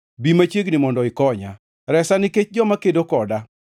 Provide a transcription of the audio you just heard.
Bi machiegni mondo ikonya, resa nikech joma kedo koda.